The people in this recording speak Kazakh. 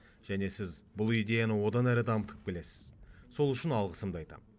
және сіз бұл идеяны одан әрі дамытып келесіз сол үшін алғысымды айтамын